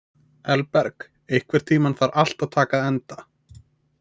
Elberg, einhvern tímann þarf allt að taka enda.